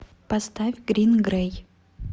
поставь грин грей